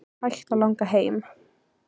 Er þig hætt að langa heim?